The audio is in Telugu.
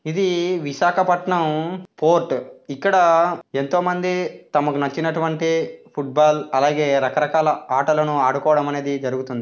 ఇది విశాఖపట్నం పోర్టు. ఇక్కడ ఎంతమంది తమకు నచ్చినటువంటి ఫుట్బాల్ అలాగే రకరకాల ఆటలను ఆడుకోవడం జరుగుతుంది.